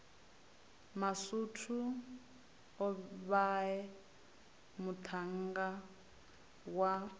masutu o vhae muṱhannga wa